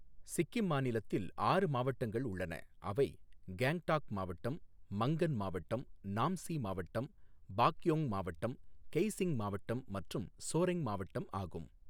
சிக்கிம் மாநிலத்தில் ஆறு மாவட்டங்கள் உள்ளன அவை கேங்டாக் மாவட்டம், மங்கன் மாவட்டம், நாம்சி மாவட்டம், பாக்யோங் மாவட்டம், கெய்ஸிங் மாவட்டம் மற்றும் ஸோரெங் மாவட்டம் ஆகும்.